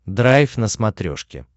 драйв на смотрешке